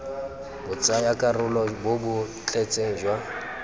botsayakarolo bo bo tletseng jwa